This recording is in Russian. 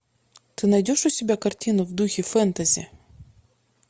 ты найдешь у себя картину в духе фэнтези